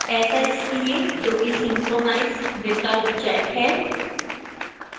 ऐसा इसलिए क्योंकि synchronize विकल्प checked है